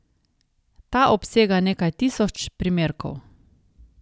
Ta obsega nekaj tisoč primerkov.